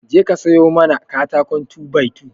Je ka sayo mana katakon 2by2